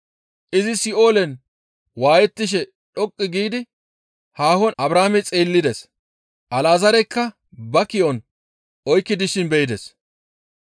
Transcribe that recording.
Izi Si7oolen waayettishe dhoqqu giidi haahon Abrahaame xeellides; Alazaarekka ba ki7on oykki dishin be7ides.